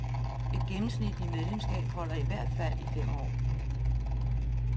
Et gennemsnitligt medlemsskab holder i hvert fald i fem år.